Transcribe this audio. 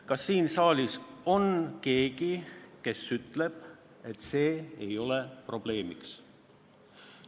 Kas siin saalis on keegi, kes ütleb, et see ei ole probleem?